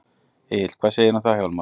Egill: Hvað segirðu um það Hjálmar?